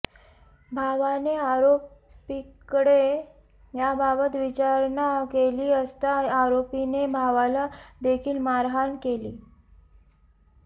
भावाने आरोपीकडे याबाबत विचारणा केली असता आरोपीने भावाला देखील मारहाण केली